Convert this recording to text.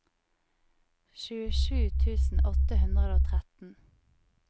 tjuesju tusen åtte hundre og tretten